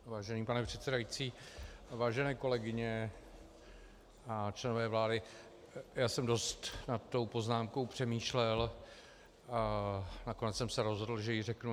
Vážený pane předsedající, vážené kolegyně a členové vlády, já jsem dost nad tou poznámkou přemýšlel a nakonec jsem se rozhodl, že ji řeknu.